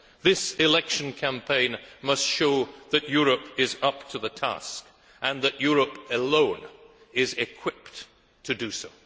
This election campaign must show that Europe is up to the task and that Europe alone is equipped to do so.